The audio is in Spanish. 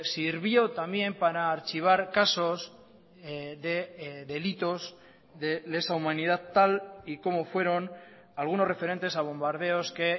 sirvió también para archivar casos de delitos de lesa humanidad tal y como fueron algunos referentes a bombardeos que